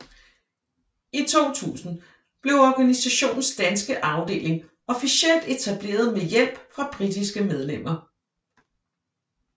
I 2000 blev organisationens danske afdeling officielt etableret med hjælp fra britiske medlemmer